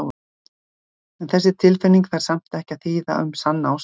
En þessi tilfinning þarf samt ekki að þýða að um sanna ást sé að ræða.